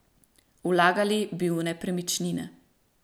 Vlagali bi v nepremičnine.